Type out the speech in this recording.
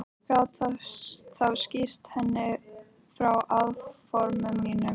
Gat þá skýrt henni frá áformum mínum.